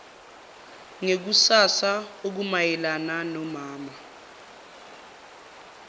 ngekusasa okumayelana nonama